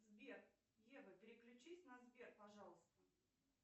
сбер ева переключись на сбер пожалуйста